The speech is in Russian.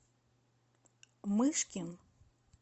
мышкин